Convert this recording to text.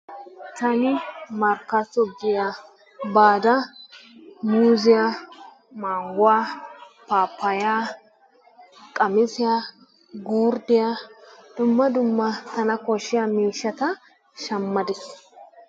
Taani markkaatto giyaa baada muuzziya, mangguwa, paappayyaa, qamisiya, gurddiya dumma dumma tana koshshiya miishshata shammada....